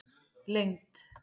lengd